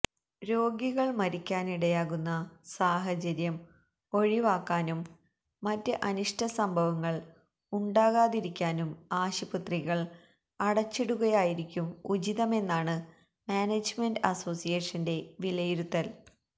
രോഗികൾ മരിക്കാനിടയാകുന്ന സാഹചര്യം ഒഴിവാക്കാനും മറ്റ് അനിഷ്ട സംഭവങ്ങൾ ഉണ്ടാകാതിരിക്കാനും ആശുപത്രികൾ അടച്ചിടുകയായിരിക്കും ഉചിതമെന്നാണ് മാനേജ്മെന്റ് അസോസിയേഷന്റെ വിലയിരുത്തൽ